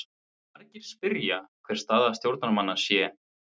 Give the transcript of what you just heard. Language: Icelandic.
Margir spyrja hver staða stjórnarmanna sé?